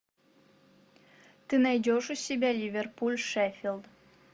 ты найдешь у себя ливерпуль шеффилд